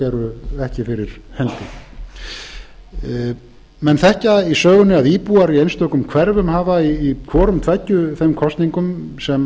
eru ekki fyrir hendi menn þekkja í sögunni að íbúar í einstökum hverfum hafa í hvorum tveggja þeim kosningum sem